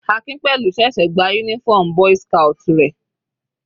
Akinpelu ṣẹ̀ṣẹ̀ gba uniform boy's scout rẹ̀.